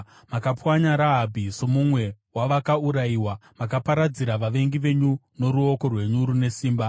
Makapwanya Rahabhi somumwe wavakaurayiwa; makaparadzira vavengi venyu noruoko rwenyu rune simba.